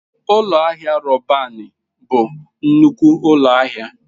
Ụlọ ahịa Robanị bụ nnukwu ụlọ ahịa.